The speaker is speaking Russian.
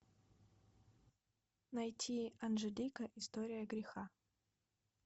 найти анжелика история греха